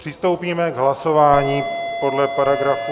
Přistoupíme k hlasování podle paragrafu...